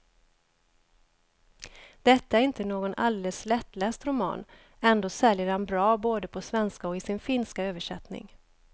Detta är inte någon alldeles lättläst roman, ändå säljer den bra både på svenska och i sin finska översättning.